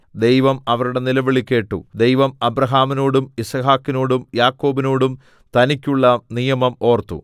ദൈവം അവരുടെ നിലവിളി കേട്ടു ദൈവം അബ്രാഹാമിനോടും യിസ്ഹാക്കിനോടും യാക്കോബിനോടും തനിക്കുള്ള നിയമം ഓർത്തു